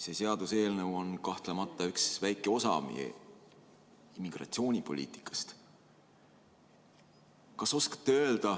See seaduseelnõu on kahtlemata üks väike osa meie immigratsioonipoliitikast.